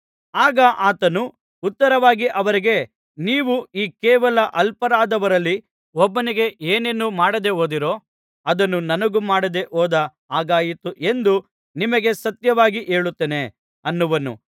ಆಗ ಆತನು ಉತ್ತರವಾಗಿ ಅವರಿಗೆ ನೀವು ಈ ಕೇವಲ ಅಲ್ಪರಾದವರಲ್ಲಿ ಒಬ್ಬನಿಗೆ ಏನನ್ನು ಮಾಡದೆ ಹೋದಿರೋ ಅದನ್ನು ನನಗೂ ಮಾಡದೆ ಹೋದ ಹಾಗಾಯಿತು ಎಂದು ನಿಮಗೆ ಸತ್ಯವಾಗಿ ಹೇಳುತ್ತೇನೆ ಅನ್ನುವನು